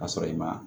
Ka sɔrɔ i ma